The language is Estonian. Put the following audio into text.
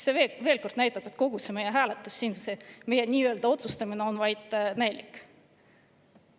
See näitab veel kord, et meie hääletus siin, meie nii-öelda otsustamine on vaid näilik.